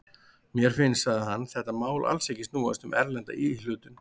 Mér finnst, sagði hann, þetta mál alls ekki snúast um erlenda íhlutun.